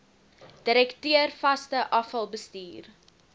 direkteur vaste afvalbestuur